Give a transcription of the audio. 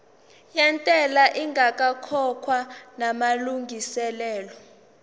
yentela ingakakhokhwa namalungiselo